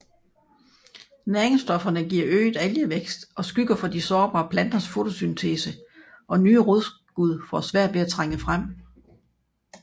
Næringsstofferne giver øget algevækst og skygger for de sårbare planters fotosyntese og nye rodskud får svært ved at trænge frem